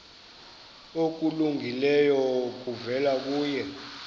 okulungileyo kuvela kuye